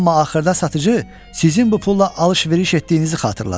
Amma axırda satıcı sizin bu pulla alış-veriş etdiyinizi xatırladı.